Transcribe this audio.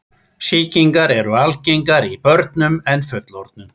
Sýkingar eru algengari í börnum en fullorðnum.